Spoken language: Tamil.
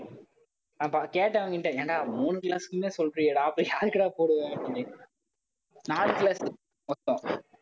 அப்ப கேட்டவங்ககிட்ட ஏன்டா சொல்றியேடா அப்புறம் யாருக்குடா போடுவ அப்படின்னு, நாலு class க்கு மொத்தம்